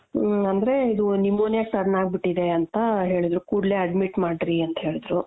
ಹ್ಮ್ ಅಂದ್ರೆ ಇದು pneumonia ಗೆ turn ಅಗ್ಬಿಟ್ಟಿದೆ ಅಂತ ಹೇಳುದ್ರು ಕೂಡ್ಲೇ admit ಮಾಡ್ರಿ ಅಂತೇಳುದ್ರು.